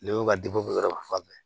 Ne bɛ ka fan bɛɛ